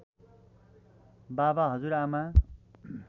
बाबा हजुरआमा